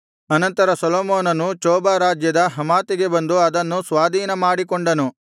ಅನಂತರ ಸೊಲೊಮೋನನು ಚೋಬ ರಾಜ್ಯದ ಹಮಾತಿಗೆ ಬಂದು ಅದನ್ನು ಸ್ವಾಧೀನಮಾಡಿಕೊಂಡನು